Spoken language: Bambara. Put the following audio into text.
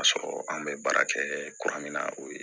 K'a sɔrɔ an bɛ baara kɛɛ kuran min na o ye